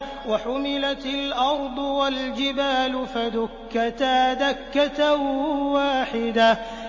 وَحُمِلَتِ الْأَرْضُ وَالْجِبَالُ فَدُكَّتَا دَكَّةً وَاحِدَةً